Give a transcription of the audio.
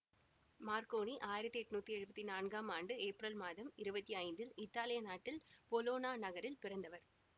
Marconi ஆயிரத்தி எட்ணூத்தி எழுவத்தி நான்காம் ஆண்டு ஏப்ரல் மாதம் இருவத்தி ஐந்தில் இத்தாலிய நாட்டில் பொலொனா நகரில் பிறந்தவர்